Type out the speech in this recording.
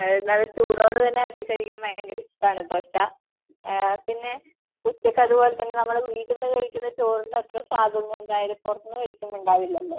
നല്ല ചൂടോടു തന്നെ ആക്കി കഴിക്കാൻ ഭയങ്കര ഇഷ്ടാണു ദോശ. പിന്നെ ഉച്ചയ്ക്ക് അത്പോലെ തന്നെ നമ്മള് വീട്ടിന്നു കഴിക്കുന്ന ചോറിന്റെ അത്ര സ്വാദ് ഒന്നും എന്തായാലും പുറത്തുന്നു കഴിക്കുമ്പോ ഉണ്ടാവില്ലല്ലോ.